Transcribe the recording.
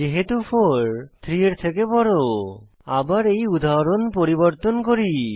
যেহেতু 4 3 এর থেকে বড় আবার এই উদাহরণ পরিবর্তন করি